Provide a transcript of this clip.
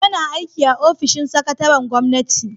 Yana aiki a ofishin sakataren gwamnati